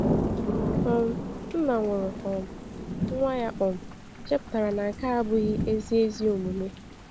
um Nna nwụrụ um nwa ya um chepụtara na nke a abụghị ezi ezi omume.